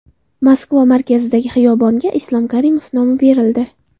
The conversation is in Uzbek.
Moskva markazidagi xiyobonga Islom Karimov nomi berildi.